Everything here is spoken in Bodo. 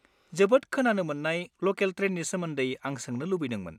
जोबोद खोनानो मोन्नाय ल'केल ट्रेननि सोमोन्दै आं सोंनो लुबैदोंमोन।